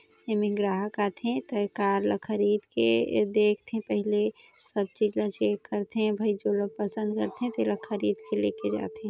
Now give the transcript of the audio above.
एमे ग्राहक आथे ता ये कार ला खरीदके देखथे पहली सब चीज ला चेक करथे भई जोन पसंद करथे ते ल खरीद के लेके जाथे।